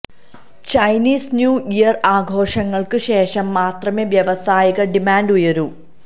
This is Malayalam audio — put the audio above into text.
ചൈനീസ് ന്യൂ ഇയർ ആഘോഷങ്ങൾക്ക് ശേഷം മാത്രമേ വ്യവസായിക ഡിമാന്റ് ഉയരൂ